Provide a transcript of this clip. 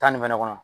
Tan ni fɛnɛ kɔnɔ